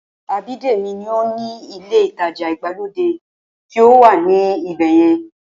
Abídèmí ní ó ni ilé ìtajà ìgbàlódé tí ó wà ní ibẹ̀yẹn